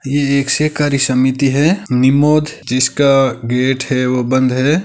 ये एक सहकारी समिति है निमोद जिसका गेट है वो बंद है।